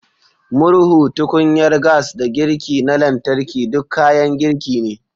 Murhu, tukunyar gas, da girki na lantarki duk kayan girki ne.